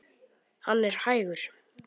Hann er hægur.